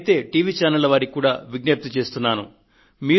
నేనైతే టీవీ ఛానళ్ల వారికి కూడా విజ్ఞప్తి చేస్తున్నాను